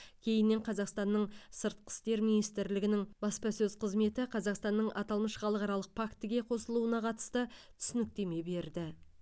кейіннен қазақстанның сыртқы істер министрлігінің баспасөз қызметі қазақстанның аталмыш халықаралық фактіге қосылуына қатысты түсініктеме берді